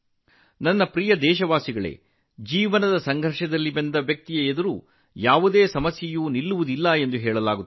ನನ್ನ ಪ್ರೀತಿಯ ದೇಶವಾಸಿಗಳೇಜೀವನದಲ್ಲಿ ಹೋರಾಟದಿಂದ ಬಂದ ವ್ಯಕ್ತಿಯ ದಾರಿಯಲ್ಲಿ ಯಾವುದೇ ಅಡೆತಡೆಗಳು ನಿಲ್ಲುವುದಿಲ್ಲ ಎಂದು ಹೇಳಲಾಗುತ್ತದೆ